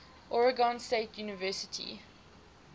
oregon state university